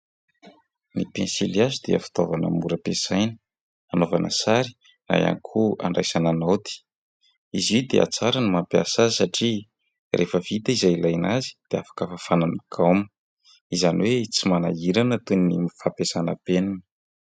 Ny pensilihazo dia fitaovana mora ampiasaina hanaovana sary na ihany koa handraisana naoty izy io dia tsara ny mampiasa azy satria rehefa vita izay ilaina azy dia afaka fafana amin'ny gaoma izany hoe tsy manahirana toy ny fampiasana penina.